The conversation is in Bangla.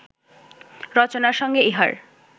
রচনার সঙ্গে ইহার